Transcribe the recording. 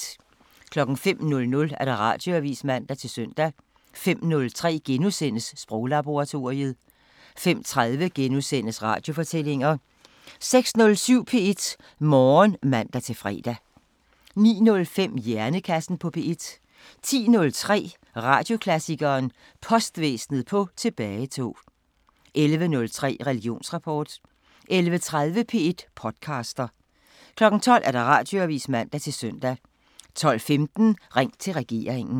05:00: Radioavisen (man-søn) 05:03: Sproglaboratoriet * 05:30: Radiofortællinger * 06:07: P1 Morgen (man-fre) 09:05: Hjernekassen på P1 10:03: Radioklassikeren: Postvæsen på tilbagetog 11:03: Religionsrapport 11:30: P1 podcaster 12:00: Radioavisen (man-søn) 12:15: Ring til regeringen